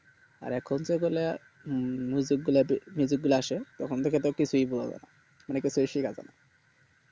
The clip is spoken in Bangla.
আর এখন যে গুলা গুলা আসে তখন থেকে তো কিছুই বুঝাযাইনা মানে কিছুই